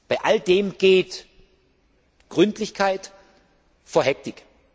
Bei all dem geht Gründlichkeit vor Hektik.